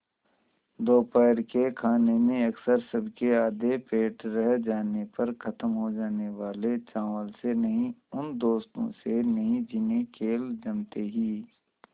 दोपहर के खाने में अक्सर सबके आधे पेट रह जाने पर ख़त्म हो जाने वाले चावल से नहीं उन दोस्तों से नहीं जिन्हें खेल जमते ही